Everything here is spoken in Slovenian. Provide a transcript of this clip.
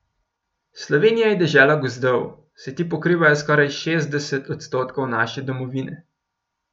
Slovenija je dežela gozdov, saj ti pokrivajo skoraj šestdeset odstotkov naše domovine.